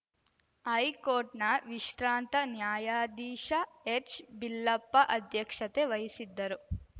ಹೈಕೋರ್ಟ್‌ನ ವಿಶ್ರಾಂತ ನ್ಯಾಯಾಧೀಶ ಎಚ್‌ಬಿಲ್ಲಪ್ಪ ಅಧ್ಯಕ್ಷತೆ ವಹಿಸಿದ್ದರು